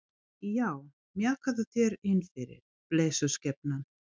Já, mjakaðu þér innfyrir, blessuð skepnan.